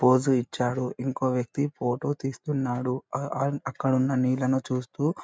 pose ఇచ్చాడు ఇంకో వ్యక్తి ఫోటో తీస్తున్నాడు ఆ-అక్కడ ఉన్న నీళ్లను చూస్తూ --